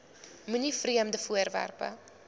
moenie vreemde voorwerpe